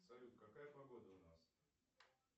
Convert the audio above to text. салют какая погода у нас